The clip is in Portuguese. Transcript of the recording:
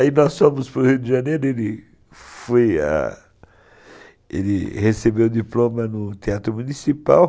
Aí nós fomos para o Rio de Janeiro, ele recebeu o diploma no Teatro Municipal.